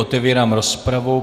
Otevírám rozpravu.